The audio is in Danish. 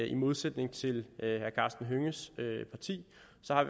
i modsætning til herre karsten hønges parti